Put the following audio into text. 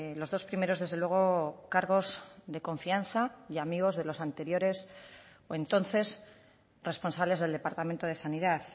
los dos primeros desde luego cargos de confianza y amigos de los anteriores o entonces responsables del departamento de sanidad